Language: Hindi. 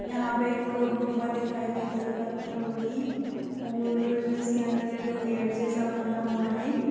यहाँ पे एक गुफा दिखाई दे रही है पत्थरों की और जिसके अंदर एक गेट जैसा बना हुआ है।